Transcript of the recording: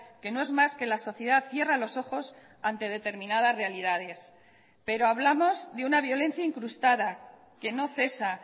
que no es más que la sociedad cierra los ojos ante determinadas realidades pero hablamos de una violencia incrustada que no cesa